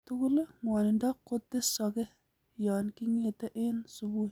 En tugul, ng'wonindo kotesoke yon king'ete en subui.